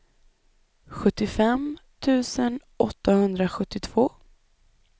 sjuttiofem tusen åttahundrasjuttiotvå